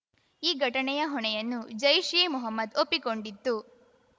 ಈ ಘಟನೆಯ ಹೊಣೆಯನ್ನು ಜೈಷ್‌ ಎ ಮೊಹಮ್ಮದ್‌ ಒಪ್ಪಿಕೊಂಡಿತ್ತು